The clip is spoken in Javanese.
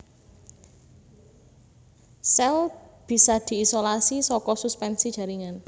Sèl bisa diisolasi saka suspensi jaringan